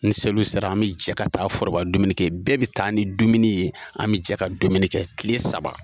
Ni seliw sera an bi jɛ ka taa foroba dumuniw kɛ bɛɛ bɛ taa ni dumuni ye an bɛ jɛ ka dumuni kɛ kile saba.